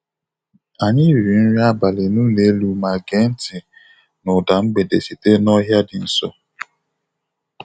Anyị riri nri abalị n'ụlọ elu ma gee ntị na ụda mgbede sitere n'ọhịa dị nso.